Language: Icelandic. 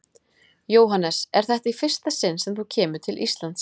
Jóhannes: Er þetta í fyrsta sinn sem þú kemur til Íslands?